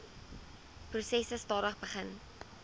proses stadig begin